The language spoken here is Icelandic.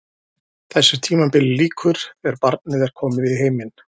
Þessu tímabili lýkur þegar barnið er komið í heiminn.